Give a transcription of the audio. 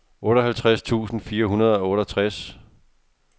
otteoghalvtreds tusind fire hundrede og otteogtres